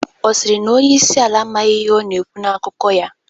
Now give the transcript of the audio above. Ọ sịrị na onyeisi ala amaghị ihe ọ na-ekwu na akụkọ ya?